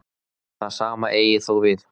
Það sama eigi þó við.